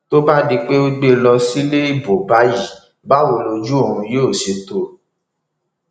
tó bá di pé o gbé e lọ sílé ibo báyìí báwo lojú òun yóò ṣe tó o